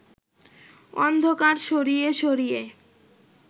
অন্ধকার সরিয়ে সরিয়ে